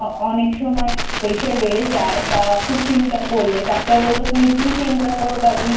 অনেক সময় Pressure বেড়ে যায় বা খুব চিন্তা করলে ডাক্তার বললো তুমি কি চিন্তা করো তার জন্যে?